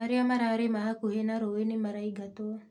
Arĩa mararĩma hakuhĩ na rũĩ nĩ maraingatwo